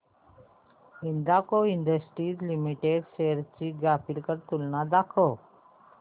Hindalco industries limited shares ची graphical तुलना दाखव